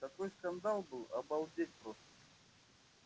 такой скандал был обалдеть просто